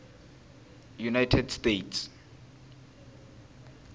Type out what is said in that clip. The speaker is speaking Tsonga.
united states